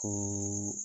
Ko